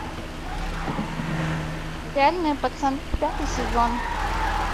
реальные пацаны пятый сезон